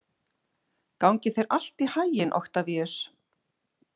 Gangi þér allt í haginn, Oktavíus.